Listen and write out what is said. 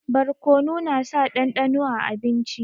Barkonu na sa dandano a abinci